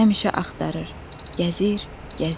Həmişə axtarır, gəzir, gəzir.